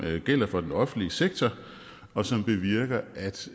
gælder for den offentlige sektor og som bevirker altså